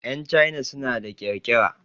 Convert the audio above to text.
Yan China suna da ƙirƙira.